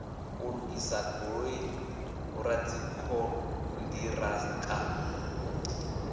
u lugisa goloi vhoradzikhon ṱiraka